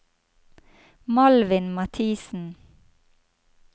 Malvin Mathisen